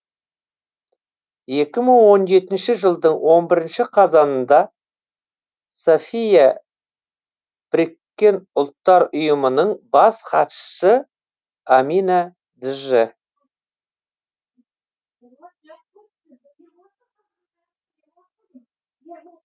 екі мың он жетінші жылдың он бірінші қазанында софия біріккен ұлттар ұйымының бас хатшысы амина дж